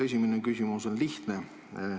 Esimene küsimus on lihtne.